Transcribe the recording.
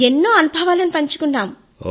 ఎన్నో అనుభవాలను పంచుకున్నాము